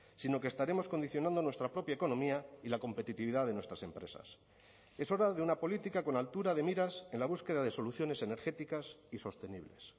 sino que estaremos condicionando nuestra propia economía y la competitividad de nuestras empresas es hora de una política con altura de miras en la búsqueda de soluciones energéticas y sostenibles